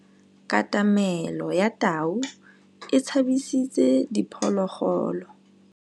Katamêlô ya tau e tshabisitse diphôlôgôlô.